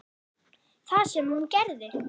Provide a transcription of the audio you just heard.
Það sem hún gerði: